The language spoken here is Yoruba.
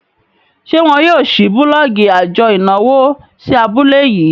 ṣe wón yóò ṣii bulọọgi ajo ìnáwó sí abule yii?